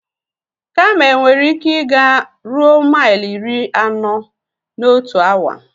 Kamel nwere ike ị ga ruo maili iri anọ na otu awa.